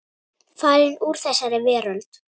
Farin úr þessari veröld.